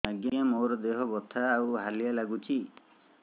ଆଜ୍ଞା ମୋର ଦେହ ବଥା ଆଉ ହାଲିଆ ଲାଗୁଚି